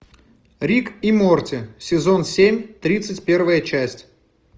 рик и морти сезон семь тридцать первая часть